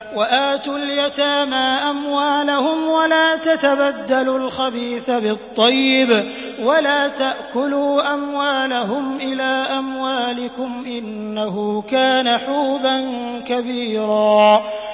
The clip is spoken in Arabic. وَآتُوا الْيَتَامَىٰ أَمْوَالَهُمْ ۖ وَلَا تَتَبَدَّلُوا الْخَبِيثَ بِالطَّيِّبِ ۖ وَلَا تَأْكُلُوا أَمْوَالَهُمْ إِلَىٰ أَمْوَالِكُمْ ۚ إِنَّهُ كَانَ حُوبًا كَبِيرًا